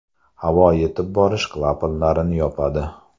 Havo yetib borish klapanlarini yopadi.